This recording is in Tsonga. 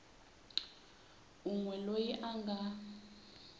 un we loyi a nga